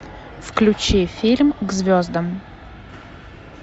включи фильм к звездам